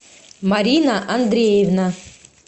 марина андреевна